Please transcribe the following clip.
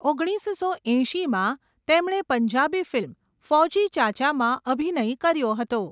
ઓગણીસસો એંશીમાં, તેમણે પંજાબી ફિલ્મ 'ફૌજી ચાચા'માં અભિનય કર્યો હતો.